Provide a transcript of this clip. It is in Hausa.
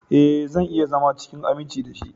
Ee, zan iya zama cikin aminci da shi.